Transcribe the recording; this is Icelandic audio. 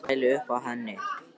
Kemur með ljósmæli upp að henni.